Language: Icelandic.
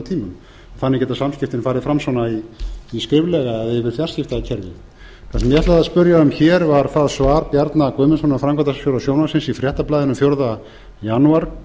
tímum þannig geta samskiptin farið fram skriflega og við fjarskiptakerfið það sem ég ætlaði að spyrja um hér var það svar bjarna guðnasonar framkvæmdastjóra sjónvarpsins í fréttablaðinu fjórða janúar